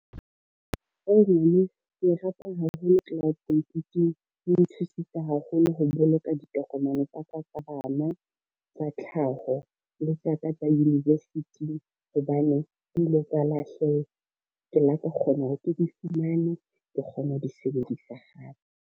Ke e rata haholo cloud computing e nthusitse haholo ho boloka ditokomane tsa ka tsa bana tsa tlhaho le tsa ka tsa university hobane di ile tsa lahleha, ke la ka kgona hore ke di fumane, ke kgone ho di sebedisa hape.